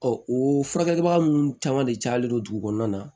o furakɛlibaga ninnu caman de cayalen don dugu kɔnɔna na